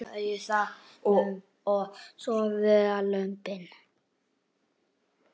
Og svo voru það lömbin.